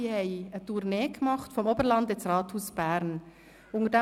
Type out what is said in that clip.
Es gab eine Tournee, die vom Oberland ins Berner Rathaus führte.